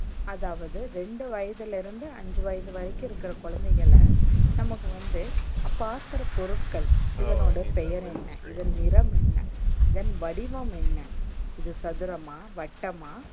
அதாவது, ரெண்டு வயதுல இருந்து அஞ்சு வயது வரைக்கும் இருக்குற குழந்தைகள நமக்கு வந்து பாக்குற பொருட்கள் இதனுடைய பெயர் என்ன? இதன் நிறம் என்ன? இதன் வடிவம் என்ன? இது சதுரம்மா? வட்டம்மா?